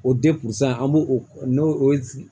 O san an b'o o n'o